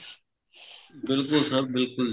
ਬਿਲਕੁਲ sir ਬਿਲਕੁਲ